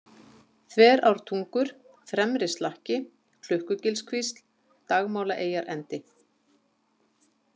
Þverártungur, Fremrislakki, Klukkugilskvísl, Dagmálaeyjarendi